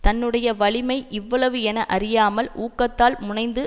தன்னுடைய வலிமை இவ்வளவு என அறியாமல் ஊக்கத்தால் முனைந்து